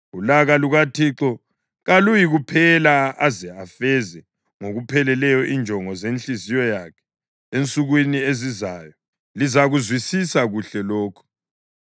Ulaka lukaThixo kaluyikuphela aze azifeze ngokupheleleyo injongo zenhliziyo yakhe. Ensukwini ezizayo lizakuzwisisa kuhle lokhu.